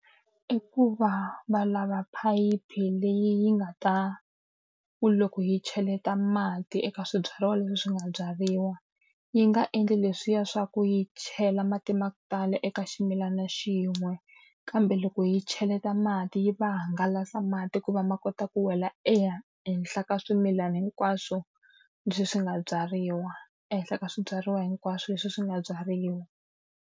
I ku va va lava phayiphi leyi yi nga ta ku loko yi cheleta mati eka swibyariwa leswi swi nga byariwa, yi nga endli leswiya swa ku yi chela mati ma ku tala eka ximilana xin'we, kambe loko yi cheleta mati yi ma hangalasa mati ku va ma kota ku wela eka henhla ka swimilana hinkwaswo leswi swi nga byariwa, ehenhla ka swibyariwa hinkwaswo leswi swi nga byariwa.